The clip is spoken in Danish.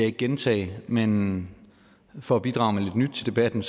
ikke gentage men for at bidrage med lidt nyt til debatten